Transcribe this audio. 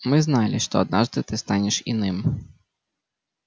мы знали что однажды ты станешь иным